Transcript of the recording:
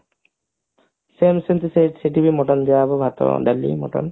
same ସେମତି ସେ ସେଠି ବି mutton ଦିଆହେବା ଭାତ ଡାଲି mutton